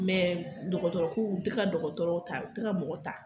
Mɛ dɔgɔtɔrɔ ko u tɛ ka dɔgɔtɔrɔw ta u tɛ ka mɔgɔw ta.